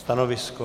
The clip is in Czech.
Stanovisko?